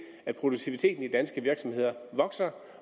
at produktiviteten i de danske virksomheder vokser